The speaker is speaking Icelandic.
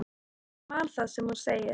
Og ég man það sem hún segir.